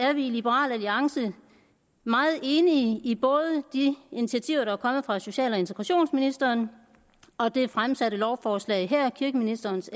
er vi i liberal alliance meget enige i både de initiativer der er kommet fra social og integrationsministeren og det fremsatte lovforslag her kirkeministerens